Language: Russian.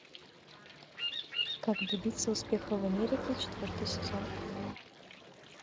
как добиться успеха в америке четвертый сезон